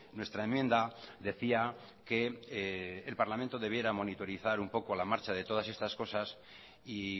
nuestra enmienda decía que el parlamento debiera monitorizar un poco la marcha de todas estas cosas y